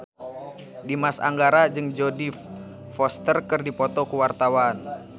Dimas Anggara jeung Jodie Foster keur dipoto ku wartawan